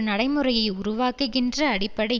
நடைமுறையை உருவாக்குகின்ற அடிப்படை